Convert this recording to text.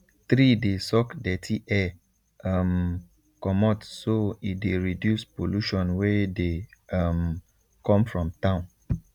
tree dey suck dirty air um comot so e dey reduce pollution wey dey um come from town